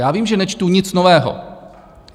Já vím, že nečtu nic nového.